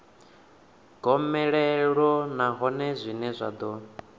gomelelo nahone zwine zwa ḓo